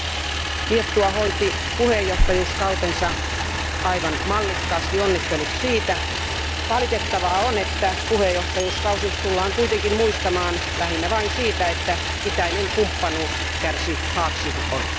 Arvoisa puhemies, Liettua hoiti puheenjohtajakautensa aivan mallikkaasti, onnittelut siitä. Valitettavaa on, että puheenjohtajakausi tullaan kuitenkin muistamaan lähinnä vain siitä, että itäinen kumppanuus kärsi haaksirikon.